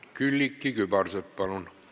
Külliki Kübarsepp, palun!